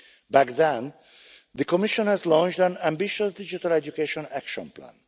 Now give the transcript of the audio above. Back then, the Commission had launched an ambitious digital education action plan.